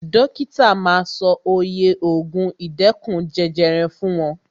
Dókítà ma sọ oye ògùn ìdẹ́kun jẹjẹrẹ fún wọn.